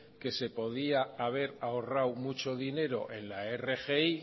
que se podía haber ahorrado mucho dinero en la rgi